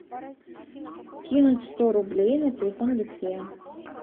кинуть сто рублей на телефон алексея